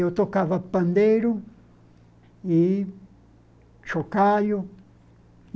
Eu tocava pandeiro e chocalho.